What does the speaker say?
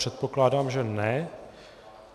Předpokládám, že ne.